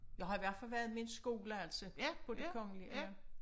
Jeg har i hvert fald været med en skole altså på det kongelige ja